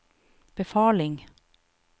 befaling